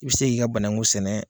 I bi sek'i ka banaku sɛnɛ .